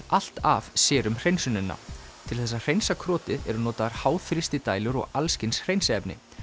allt af sér um hreinsunina til þess að hreinsa eru notaðar háþrýstidælur og alls kyns hreinsiefni